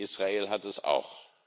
Israel hat es auch.